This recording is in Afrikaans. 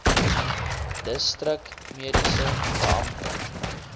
distrik mediese beampte